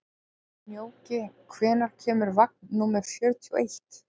Snjóki, hvenær kemur vagn númer fjörutíu og eitt?